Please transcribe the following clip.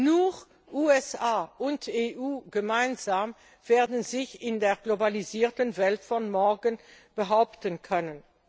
Nur USA und EU gemeinsam werden sich in der globalisierten Welt von morgen behaupten können.